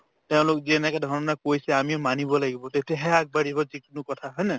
তেওঁলোক যেনেকেধৰণে কৈছে আমিও মানিব লাগিব তেতিয়াহে আগবাঢ়িব যিকোনো কথা হয়নে